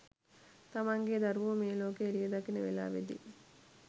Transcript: තමන්ගේ දරුවෝ මේ ලෝකෙ එළිය දකින වෙලාවෙදි.